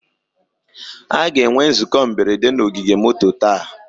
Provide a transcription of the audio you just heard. A ga-enwe nzukọ mberede na ogige moto taa